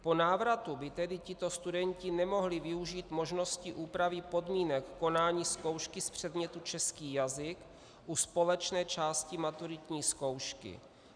Po návratu by tedy tito studenti nemohli využít možnosti úpravy podmínek konání zkoušky z předmětu český jazyk u společné části maturitní zkoušky.